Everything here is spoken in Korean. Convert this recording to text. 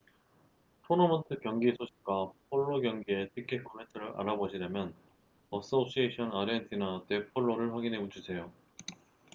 토너먼트 경기 소식과 폴로 경기의 티켓 구매처를 알아보시려면 asociacion argentina de polo를 확인해주세요